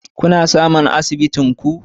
Kuna samun asibitin ku